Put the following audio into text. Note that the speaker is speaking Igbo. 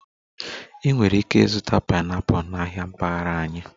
Ị nwere ike ịzụta pineapple na ahịa mpaghara anyị